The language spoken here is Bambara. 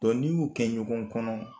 Dɔn n'i y'u kɛ ɲɔgɔn kɔnɔ